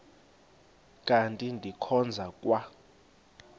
kanti ndikhonza kwa